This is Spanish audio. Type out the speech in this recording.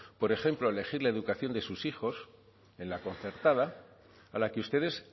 por ejemplo a elegir la educación de sus hijos en la concertada a la que ustedes